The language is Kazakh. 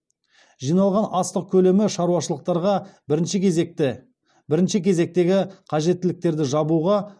жиналған астық көлемі шаруашылықтарға бірінші кезектегі қажеттіліктерді жабуға